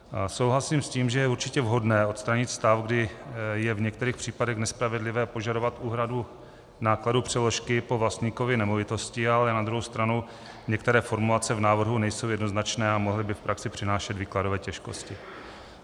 Souhlasím s tím, že je určitě vhodné odstranit stav, kdy je v některých případech nespravedlivé požadovat úhradu nákladů přeložky po vlastníkovi nemovitosti, ale na druhou stranu některé formulace v návrhu nejsou jednoznačné a mohly by v praxi přinášet výkladové těžkosti.